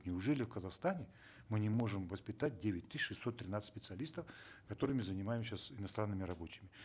неужели в казахстане мы не можем воспитать девять тысяч шестьсот тринадцать специалистов которыми занимаем сейчас иностранными рабочими